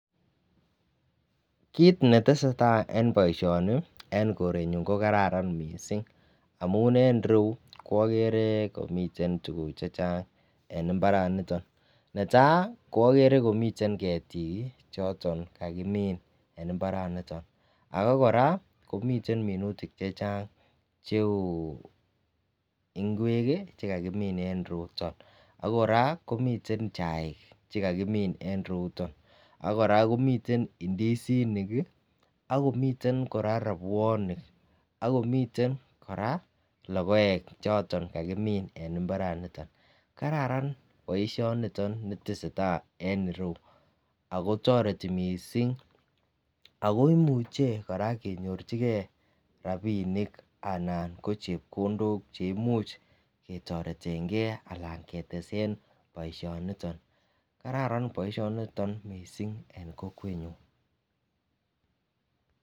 Kit netesetai en boishoni en korenyun ko kararan missing amun en iroyuu okere komiten tukuk chechang en imbaraniton niton. Netai kobokere komiten ketik choton chekikimin en imbaraniton ak Koraa komiten minutik chechang cheu ingwek kii chekakimin en yuton. AK Koraa komiten chaik chekakimin en iroyuton, ak Koraa komiten ndisinik kii ak komiten Koraa robwonik ak komiten Koraa lokoek choton kakimin en imbaraniton. Kararan boishoniton nitesetai en iroyuu ako toretii missing akoimuche Koraa kenyorchigee ranibinik anan ko chepkondok che imuche ketoretengee ana ketesen boishoniton. Kararan boishoniton missing en kokwenyun.